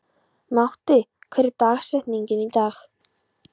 Matti, hver er dagsetningin í dag?